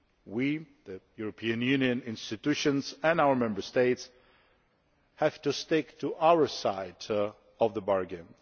We the European Union institutions and our Member States have to stick to our side of the bargain.